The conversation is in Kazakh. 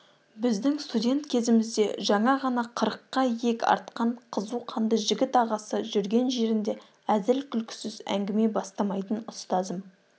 біздің студент кезімізде жаңа ғана қырыққа иек артқан қызу қанды жігіт ағасы жүрген жерінде әзіл-күлкісіз әңгіме бастамайтын ұстазым